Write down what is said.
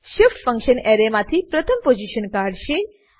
shift function array માંથી પ્રથમ position કાઢશે